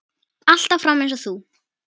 Alltaf fram eins og þú.